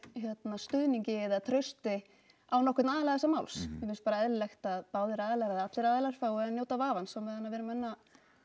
stuðningi eða trausti á nokkurn aðila þessa máls mér finnst bara eðlilegt að báðir aðilar eða allir aðilar fái að njóta vafans á meðan við erum enn að